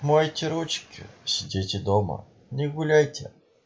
мойте ручки сидите дома не гуляйте